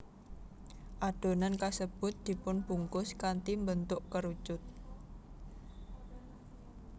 Adonan kasebut dipunbungkus kanthi mbentuk kerucut